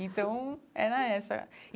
Então, era essa.